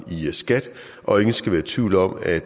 i skat og ingen skal være i tvivl om at